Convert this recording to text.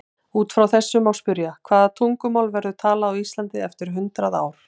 Út frá þessu má spyrja: Hvaða tungumál verður talað á Íslandi eftir hundrað ár?